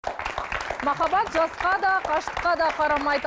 махаббат жасқа да қашықтыққа да қарамайды